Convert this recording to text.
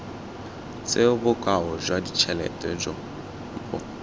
tseo bokao jwa ditšhelete bo